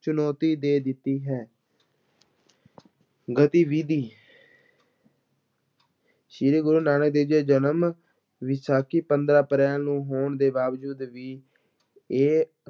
ਚੁਣੌਤੀ ਦੇ ਦਿੱਤੀ ਹੈ ਗਤੀਵਿਧੀ ਸ੍ਰੀ ਗੁਰੂ ਨਾਨਕ ਦੇਵ ਜੀ ਦਾ ਜਨਮ ਵਿਸਾਖੀ ਪੰਦਰਾਂ ਅਪ੍ਰੈਲ ਨੂੰ ਹੋਣ ਦੇ ਬਾਵਜੂਦ ਵੀ ਇਹ